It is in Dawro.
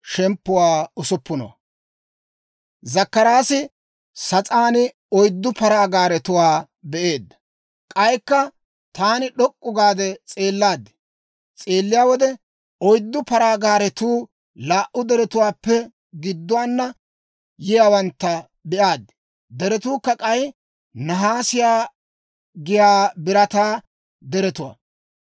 K'aykka taani d'ok'k'u gaade s'eellaad; s'eelliyaa wode oyddu paraa gaaretuu laa"u deretuwaappe gidduwaana yiyaawantta be'aad; deretuukka k'ay nahaase giyaa birataa deretuwaa.